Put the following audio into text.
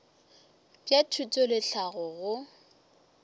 bja thuto le tlhahlo go